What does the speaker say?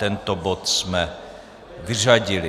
Tento bod jsme vyřadili.